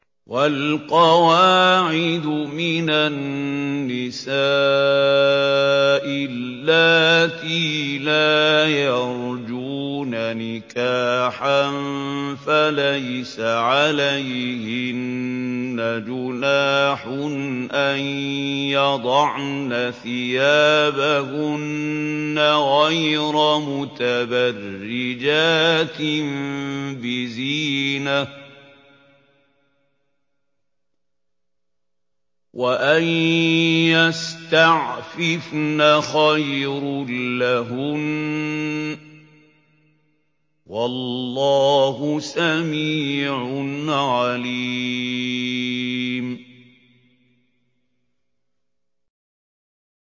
وَالْقَوَاعِدُ مِنَ النِّسَاءِ اللَّاتِي لَا يَرْجُونَ نِكَاحًا فَلَيْسَ عَلَيْهِنَّ جُنَاحٌ أَن يَضَعْنَ ثِيَابَهُنَّ غَيْرَ مُتَبَرِّجَاتٍ بِزِينَةٍ ۖ وَأَن يَسْتَعْفِفْنَ خَيْرٌ لَّهُنَّ ۗ وَاللَّهُ سَمِيعٌ عَلِيمٌ